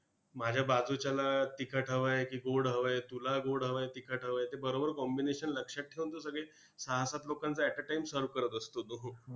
माझ्या बाजूच्याला तिखट हवं आहे की गोड हवं आहे, तुला गोड हवं आहे तिखट हवं आहे ते बरोबर combination लक्षात ठेऊन तो सगळे सहा सात लोकांचं at a time serve करत असतो तो!